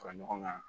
Fara ɲɔgɔn kan